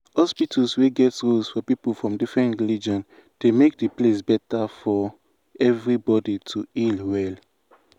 hospitals wey get rules for people from different religion dey make the place better for everybody to heal well.